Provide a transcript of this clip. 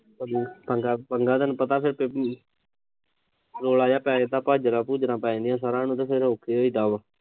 ਅਜੇ ਪਹਿਲਾ ਦਿਨ ਪਤਾ ਗਾ ਉਥੇ ਕੀ ਰੌਲਾ ਪੈ ਜੇ ਤਾਂ ਭਾਜੜਾਂ-ਭੂਜੜਾ ਪੈ ਜਾਂਦੀਆ, ਫਿਰ ਔਖੇ ਹੋਈ ਦਾ ਵਾ।